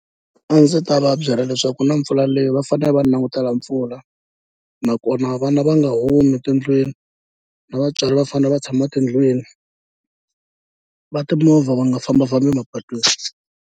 A ndzi ta va byela leswaku ku na mpfula leyi va fanele va langutela mpfula nakona vana va nga humi tindlwini na vatswari va fanele va tshama tindlwini, va timovha va nga fambafambi mapatwini.